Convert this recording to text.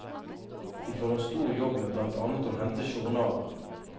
De får en stor jobb med blant annet å hente journaler.